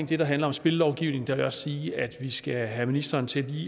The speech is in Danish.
det der handler om spillovgivningen vil jeg sige at vi lige skal have ministeren til